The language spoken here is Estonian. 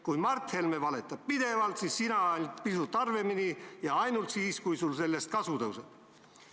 Kui Mart Helme valetab pidevalt, siis sina pisut harvemini ja ainult siis, kui sul sellest kasu tõuseb.